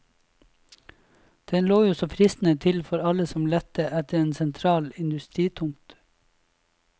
Den lå jo så fristende til for alle som lette etter en sentral industritomt.